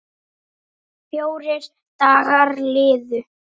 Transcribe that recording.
Fjórir dagar liðu.